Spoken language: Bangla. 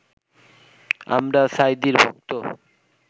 আমরা সাঈদীর ভক্ত